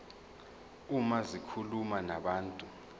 uma zikhuluma nabantu